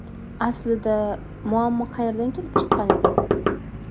Aslida, muammo qayerdan kelib chiqqan edi?